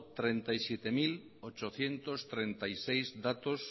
treinta y siete mil ochocientos treinta y seis datos